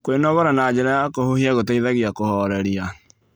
Kwĩnogora na njĩra ya kũhũhĩa gũteĩthagĩa kũhorerĩa